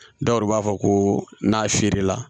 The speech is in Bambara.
Dɔw yɛrɛ b'a fɔ ko n'a feere la